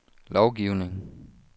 lovgivning